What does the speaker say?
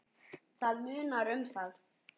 Það munar um það.